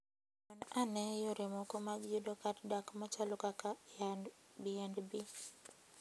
Non ane yore mamoko mag yudo kar dak machalo kaka Airbnb.